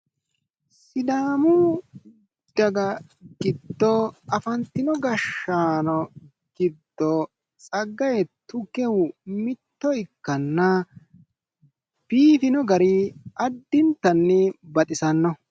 Sidaamu daga giddo afantino gashshaano giddo Tsaggaye Tukehu mitto ikkanna biifino gari addintanni baxisannoho.